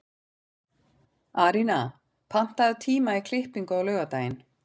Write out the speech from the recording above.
Arína, pantaðu tíma í klippingu á laugardaginn.